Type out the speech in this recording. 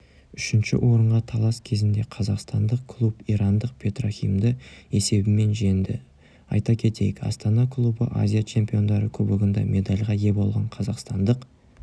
үшінші орынға талас кезінде қазақстандық клуб ирандық петрохимді есебімен жеңді айта кетейік астана клубы азия чемпиондары кубогында медальға ие болған қазақстандық